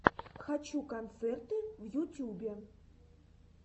хочу концерты в ютюбе